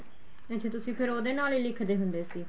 ਅੱਛਾ ਤੁਸੀਂ ਫ਼ੇਰ ਉਹਦੇ ਨਾਲ ਹੀ ਲਿਖਦੇ ਹੁੰਦੇ ਸੀ